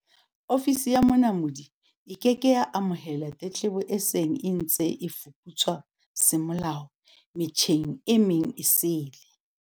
Ofisi ya Monamodi e ke ke ya amohela tletlebo e seng e ntse e fuputswa semolao me tjheng e meng esele.